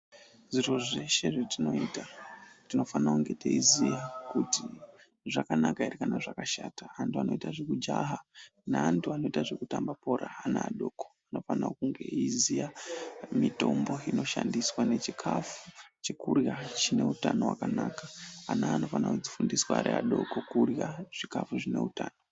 Zviro zveshe zvetinoita tinofane kunge teiziya kuti zvakanaka ere kana kuti zvakashata. Antu anoita zvekujaha neantu anoita zvekutamba bhora, ana adoko anofana kunge eiziya mitombo inoshandiswa nechikafu chekurya chine utano hwakanaka. Ana anofana kufundiswa ari adoko kurya chikafu zvine utano.